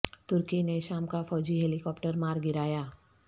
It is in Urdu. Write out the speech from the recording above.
ترکی نے شام کا فوجی ہیلی کاپٹر مار گرایا